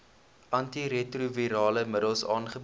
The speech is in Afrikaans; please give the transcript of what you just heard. antiretrovirale middels aangebied